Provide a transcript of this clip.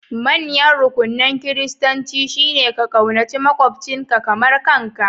Manyan rukunan Kiristanci shine ka ƙaunaci maƙwabcinka kamar kanka